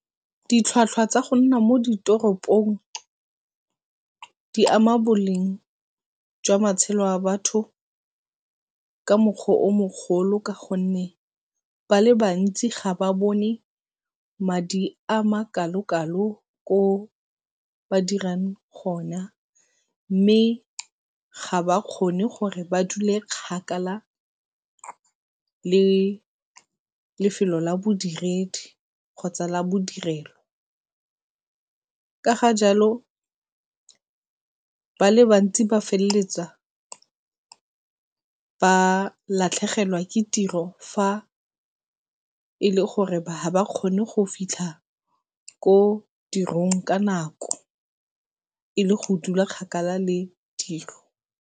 Ditlhwatlhwa tsa go nna mo ditoropong di ama boleng jwa matshelo a batho ka mokgwa o mogolo ka gonne ba le bantsi ga ba bone madi a makalokalo ko ba dirang gona mme ga ba kgone gore ba dule kgakala le lefelo la bodiredi kgotsa la bodirelo. Ka ga jalo ba le bantsi ba feleletsa ba latlhegelwa ke tiro fa e le gore ha ba kgone go fitlha ko tirong ka nako, e leng go dula kgakala le dilo.